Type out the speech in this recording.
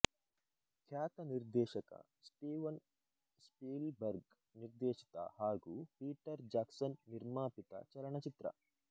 ಖ್ಯಾತ ನಿರ್ದೇಶಕ Steven Spielberg ನಿರ್ದೇಶಿತ ಹಾಗು ಪೀಟರ್ ಜಾಕ್ಸನ್ ನಿರ್ಮಾಪಿತ ಚಲನಚಿತ್ರ